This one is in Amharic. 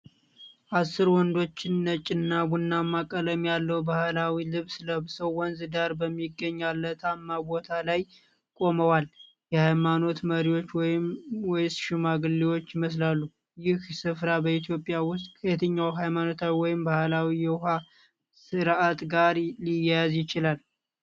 አሥር ወንዶች ነጭና ቡናማ ቀለም ያለው ባህላዊ ልብስ ለብሰው ወንዝ ዳር በሚገኝ አለትማ ቦታ ላይ ቆመዋል። የሃይማኖት መሪዎች ወይስ ሽማግሌዎች ይመስላሉ። ይህ ሥፍራ በኢትዮጵያ ውስጥ ከየትኛው ሃይማኖታዊ ወይም ባህላዊ የውኃ ሥርዓት ጋር ሊያያዝ ይችላል?